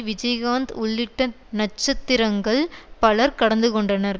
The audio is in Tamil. விஜய்காந்த் உள்ளிட்ட நட்சத்திரங்கள் பலர் கடந்துகொண்டனர்